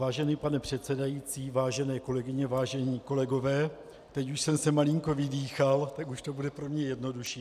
Vážený pane předsedající, vážené kolegyně, vážení kolegové, teď už jsem se malinko vydýchal, tak už to bude pro mě jednodušší.